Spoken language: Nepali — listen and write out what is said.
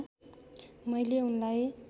मैले उनलाई